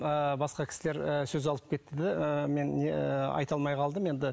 ыыы басқа кісілер ыыы сөз алып кетті де ыыы мен не айта алмай қалдым енді